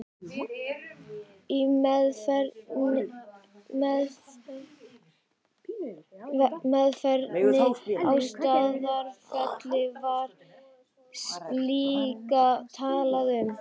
Í meðferðinni á Staðarfelli var líka talað um